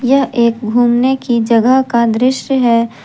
यह एक घूमने की जगह का दृश्य है।